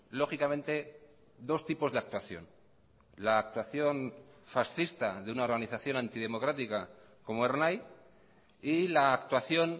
lógicamente dos tipos de actuación la actuación fascista de una organización antidemocrática como ernai y la actuación